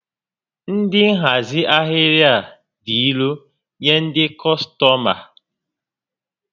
Ndị nhazi ahịrị a dị irò nyé ndị kọstọma